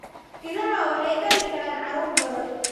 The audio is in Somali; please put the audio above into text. Idaha waxay dhali karaan caruur badan.